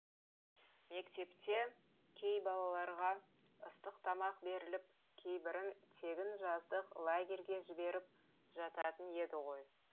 мектепте кей балаларға ыстық тамақ беріліп кейбірін тегін жаздық лагерьге жіберіп жататын еді ғой